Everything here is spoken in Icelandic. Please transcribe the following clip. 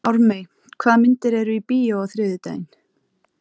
Ármey, hvaða myndir eru í bíó á þriðjudaginn?